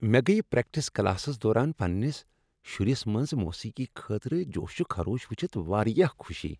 مےٚ گٔیہ practice classes دوران پنٛنس شُرس منٛز موسیقی خٲطرٕ جوش و خروش ؤچھتھ واریاہ خوشی۔